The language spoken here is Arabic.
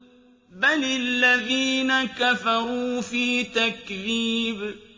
بَلِ الَّذِينَ كَفَرُوا فِي تَكْذِيبٍ